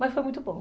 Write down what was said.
Mas foi muito bom.